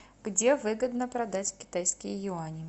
где выгодно продать китайские юани